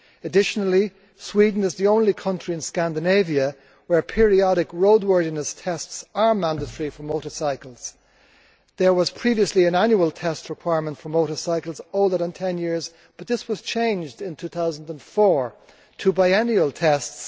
Additionally, Sweden is the only country in Scandinavia where periodic roadworthiness tests are mandatory for motorcycles. There was previously an annual test requirement for motorcycles older than ten years, but this was changed in 2004 to biennial tests.